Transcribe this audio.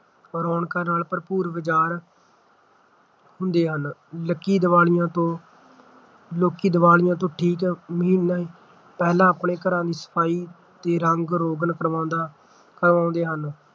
ਰੌਣਕਾਂ ਨਾਲ ਭਰਪੂਰ ਬਾਜ਼ਾਰ ਹੁੰਦੇ ਹਨ ਲਕੀ ਦੀਵਾਲੀ ਤੋਂ ਲੋਕੀ ਦੀਵਾਲੀਆਂ ਤੋਂ ਠੀਕ ਮਹੀਨਾ ਪਹਿਲਾਂ ਆਪਣੇ ਘਰਾਂ ਦੀ ਸਫ਼ਾਈ ਤੇ ਰੰਗ ਰੋਗਨ ਕਰਾਉਦਾ ਕਰਾਉਂਦੇ ਹਨ